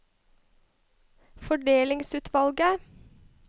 fordelingsutvalget